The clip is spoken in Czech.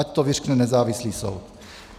Ať to vyřkne nezávislý soud.